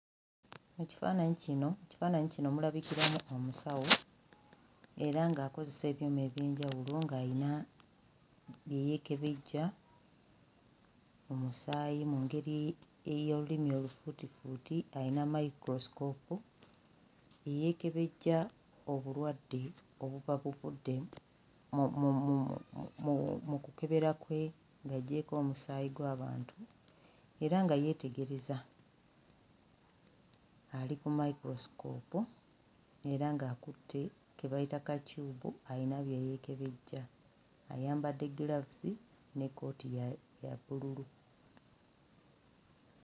Ekifaannyi kino ekifaananyi kino mulabikiramu omusawo era ng'akozesa ebyuma eby'enjawulo, ng'alina bye yeekebejja mu mu mu mu musaayi mu ngeri ey'olulimi olufuutifuuti alina mayikulosikoopu eyeekebejja obulwadde obuba buvudde mu kukebera kwe ng'aggyeeko omusaayi gw'abantu era nga yeetegereza, ali ku mayikulosikoopu era ng'akutte ke bayita ka tyubu ayina bye yeekebejja. Ayambadde giraavuzi n'ekkooti ya ya bbululu.